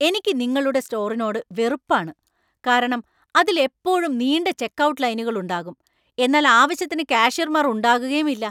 എനിക്ക് നിങ്ങളുടെ സ്റ്റോറിനോട് വെറുപ്പാണ്, കാരണം അതിൽ എപ്പോഴും നീണ്ട ചെക്ക്ഔട്ട് ലൈനുകൾ ഉണ്ടാകും, എന്നാൽ ആവശ്യത്തിന് കാഷ്യർമാർ ഉണ്ടാകുകയുമില്ല.